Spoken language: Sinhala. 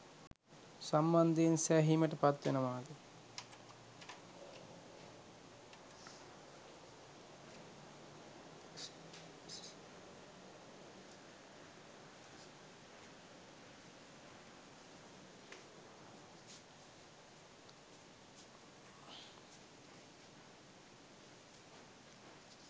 සම්බන්ධයෙන් සෑහීමට පත්වෙනවාද?